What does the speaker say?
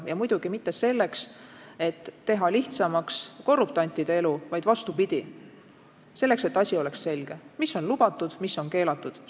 Ja muidugi mitte selleks, et teha lihtsamaks korruptantide elu, vaid vastupidi: selleks, et oleks selge, mis on lubatud ja mis on keelatud.